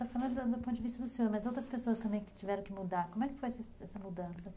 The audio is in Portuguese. Você está falando do ponto de vista do senhor, mas outras pessoas também que tiveram que mudar, como é que foi essa mudança?